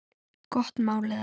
Gott mál eða?